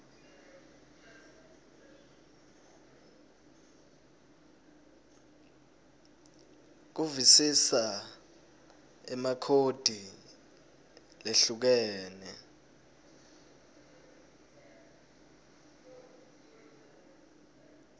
kuvisisa emakhodi lehlukene